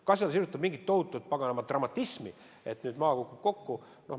Kas see on seotud mingi tohutu paganama dramatismiga, et nüüd maa kukub kokku?